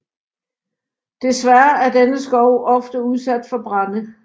Desværre er denne skov ofte udsat for brande